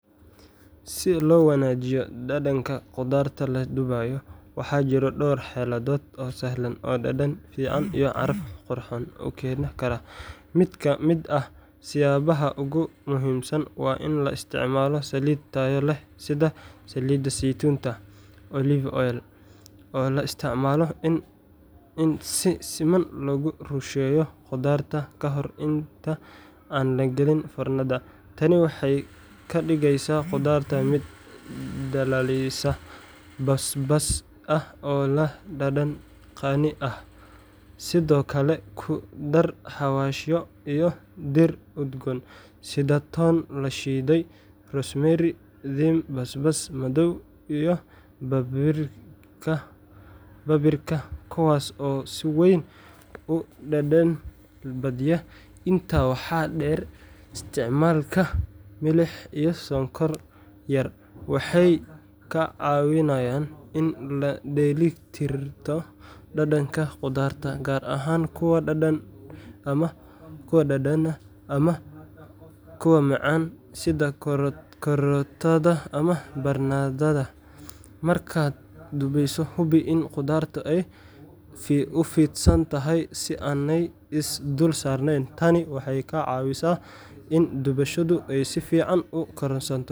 Si loo waanajiyo dhadhanka khudaarta la dubay, waxaa jira dhowr xeeladood oo sahlan oo dhadhan fiican iyo caraf qurxoon u keeni kara:Mid ka mid ah siyaabaha ugu muhiimsan waa in la isticmaalo saliid tayo leh sida saliid saytuun olive oil, oo loo isticmaalo in si siman loogu rusheeyo khudaarta ka hor inta aan la gelin foornada. Tani waxay ka dhigeysaa khudaarta mid dhalaalaysa, basbaas ah oo leh dhadhan qani ah. Sidoo kale, ku dar xawaashyo iyo dhir udgoon sida toon la shiiday, rosemary, thyme, basbaas madow, iyo paprika kuwaas oo si weyn u dhadhan badiya. Intaa waxaa dheer, isticmaalka milix iyo sonkor yar waxay kaa caawinayaan in la dheelli tirto dhadhanka khudaarta, gaar ahaan kuwa dhanaan ama aad u macaan sida karootada ama barandhada. Markaad dubeyso, hubi in khudaartu ay u fidsan tahay si aanay is dul saarnayn tan waxay ka caawisaa in dushoodu ay si fiican u karsanto.